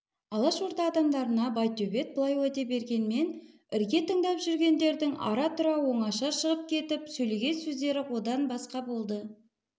алашорда адамдарына байтөбет бұлай уәде бергенмен ірге тыңдап жүргендердің ара-тұра оңаша шығып кетіп сөйлеген сөздері одан басқа болды